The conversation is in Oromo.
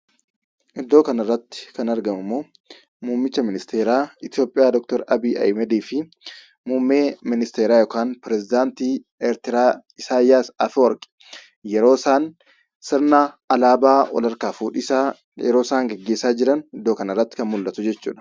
Iddoo kanarratti kan argamummoo; muummicha ministeera itoopiyaa Dr. Abiyyi Ahmediifi muummee ministeera Yookaan perisidaantii Eertiriyaa Isaayyaas Afawarqi yeroo isaan sirna alaabaa wal harkaa fuudhinsa yeroosaan gaggeessan iddoo kanatti kan mul'atu jechuudha.